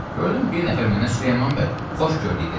Gördüm bir nəfər məndən Süleyman bəy, xoş gördük dedi.